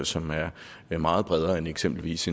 som er er meget bredere end eksempelvis